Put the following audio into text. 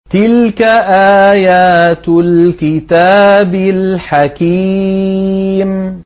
تِلْكَ آيَاتُ الْكِتَابِ الْحَكِيمِ